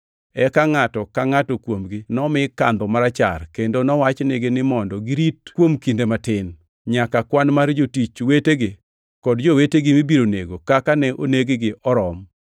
Eka ngʼato ka ngʼato kuomgi nomi kandho marachar, kendo nowachnigi ni mondo girit kuom kinde matin, nyaka kwan mar jotich wetegi kod jowetegi mibiro nego kaka ne oneg-gi orom.